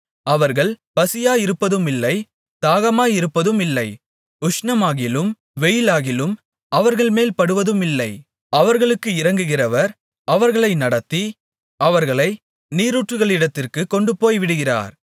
அவர்கள் பசியாயிருப்பதுமில்லை தாகமாயிருப்பதுமில்லை உஷ்ணமாகிலும் வெயிலாகிலும் அவர்கள்மேல் படுவதுமில்லை அவர்களுக்கு இரங்குகிறவர் அவர்களை நடத்தி அவர்களை நீரூற்றுகளிடத்திற்குக் கொண்டுபோய்விடுவார்